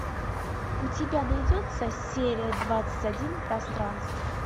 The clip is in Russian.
у тебя найдется серия двадцать один пространство